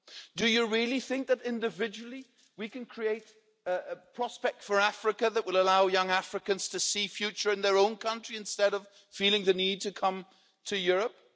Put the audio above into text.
Do you really think that, individually, we can create a prospect for Africa that will allow young Africans to see a future in their own countries instead of feeling the need to come to Europe?